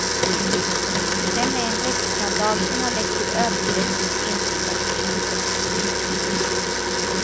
Den är en rättsskandal som har lett till övergrepp mot enskilda personer.